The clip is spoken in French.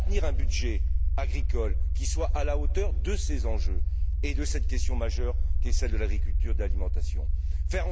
Maintenir un budget agricole qui soit à la hauteur de ces enjeux et de cette question majeure qui est celle de l'agriculture de l'alimentation, c'est le deuxième point.